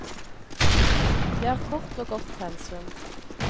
Det er kort og godt pensum.